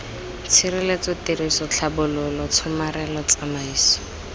tshireletso tiriso tlhabololo tshomarelo tsamaiso